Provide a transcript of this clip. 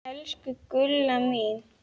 Elsku Gulla mín.